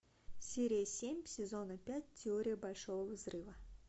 серия семь сезона пять теория большого взрыва